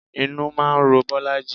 Inú máa ń ro Bolaji